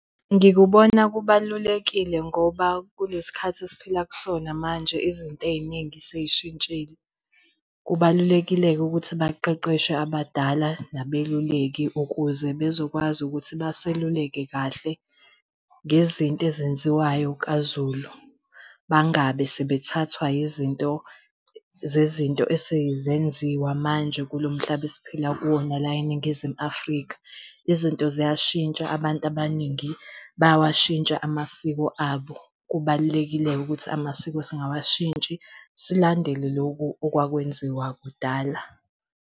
Ngikubona kubalulekile ngoba kulesi khathi esiphila kusona manje izinto ey'ningi sey'shintshile. Kubalulekile-ke ukuthi baqeqeshwe abadala nabeluleki ukuze bezokwazi ukuthi baseluleke kahle ngezinto ezenziwayo kaZulu. Bangabe sebethathwa izinto zezinto esezenziwa manje kulo mhlaba esiphila kuwona la eNingizimu Afrika. Izinto ziyashintsha, abantu abaningi bayawashintsha amasiko abo. Kubalulekile-ke ukuthi amasiko singawashintshi silandele lokhu okwakwenziwa kudala.